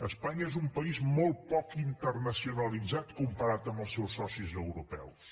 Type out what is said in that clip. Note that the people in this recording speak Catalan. espanya és un país molt poc internacionalitzat comparat amb els seus socis europeus